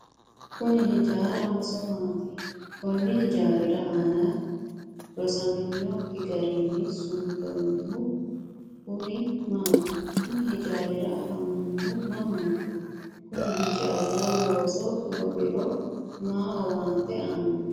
kuni hijaarahonso maati? konni hijaari aana rosaminokki garinni suntoonnihu kuni maati? kuni hijaari afamannohu mamaati? kuni hijaari looso goofiro mayi owaante aanno?